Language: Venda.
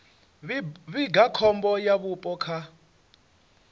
vhiga khombo ya vhupo kha